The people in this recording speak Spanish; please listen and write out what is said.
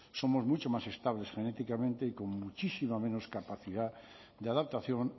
somos mucho más estables genéticamente y con muchísima menos capacidad de adaptación